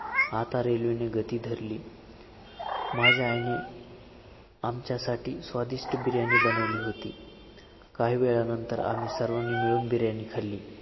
आता railway ने गती धरली. माझ्या आईने आमच्यासाठी स्वादिष्ट बिर्याणी बनवली होती, काही वेळानंतर आम्ही सर्वांनी मिळून बिर्याणी खाल्ली.